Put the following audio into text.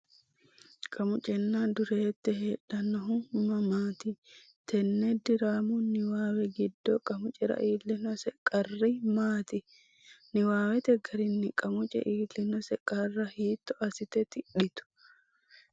Qamucenna Dureette heedhannohu mamaati? Tenne diraamu niwaawe giddo Qamucera iillinose qarri maati? Niwaawete garinni Qamuce iillinose qarra hiitto assite tidhitu?